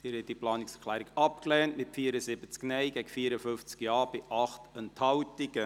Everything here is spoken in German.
Sie haben die Planungserklärung 5.c abgelehnt, mit 74 Nein- gegen 54 Ja-Stimmen bei 8 Enthaltungen.